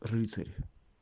рыцарь